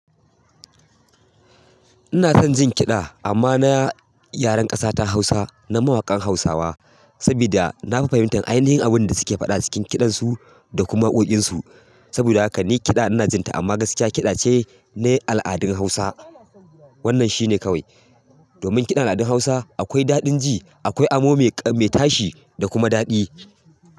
Ina son jin kiɗa amma na yaren ƙasa ta Hausa na mawakan Hausawa. Saboda nafi fahimtar ainihin abin da suke faɗa cikin kiɗan su da kuma waƙoƙin su. Sabida haka ni kiɗa inajinta, amma gaskiya kiɗace na aladun Hausa wannan shine kawai domin kiɗan al'adun Hausa akwai daɗin ji, akwai amo mai tashi da kuma daɗi.